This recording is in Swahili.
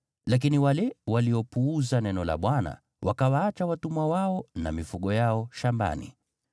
Lakini wale waliopuuza neno la Bwana wakawaacha watumwa wao na mifugo yao shambani.